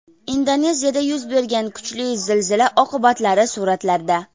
Indoneziyada yuz bergan kuchli zilzila oqibatlari suratlarda.